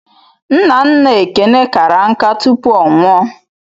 Nna nna Ekene kara nká tupu ọ nwụọ.